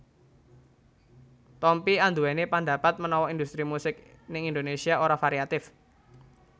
Tompi anduweni pandapat menawa industri musik ning Indonésia ora variatif